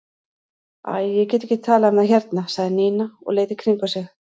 Æ, ég get ekki talað um það hérna sagði Nína og leit í kringum sig.